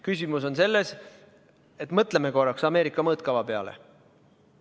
Küsimus on selles, et mõtleme korraks Ameerika mõõtkava peale.